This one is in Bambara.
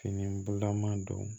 Fini bulama don